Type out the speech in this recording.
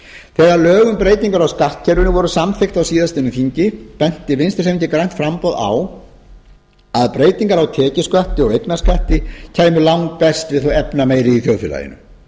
um breytingar á skattkerfinu voru samþykkt á síðastliðnu þingi benti vinstri hreyfingin grænt framboð á að breytingar á tekjuskatti og eignarskatti kæmi langbest við þá efnameiri í þjóðfélaginu